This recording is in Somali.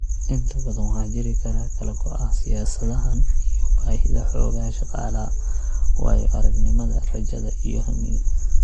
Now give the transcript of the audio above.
Inta badan waxaa jiri kara kala go'a siyaasadahan iyo baahida xoogga shaqaalaha, waayo-aragnimada, rajada, iyo hamiga.